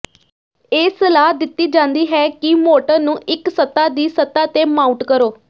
ਇਹ ਸਲਾਹ ਦਿੱਤੀ ਜਾਂਦੀ ਹੈ ਕਿ ਮੋਟਰ ਨੂੰ ਇੱਕ ਸਤ੍ਹਾ ਦੀ ਸਤ੍ਹਾ ਤੇ ਮਾਊਟ ਕਰੋ